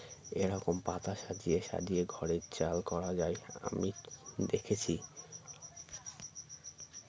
এরকম পাতা সাজিয়ে সাজিয়ে ঘরের চাল করা যায় আমি দেখেছি